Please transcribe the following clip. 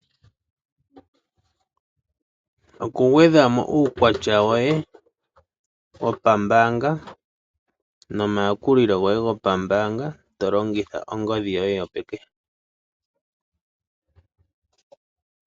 Okugwedhamo uukwatya woye wopambanga nomayakulilo goye gopambanga to longitha ongodhi yoye yo peke.